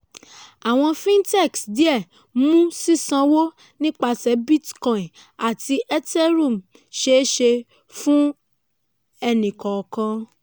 "àwọn fintechs díẹ̀ mú sísánwó nipasẹ̀ bitcoin àti ethereum ṣeé ṣe fún ẹni-kọ̀ọ̀kan."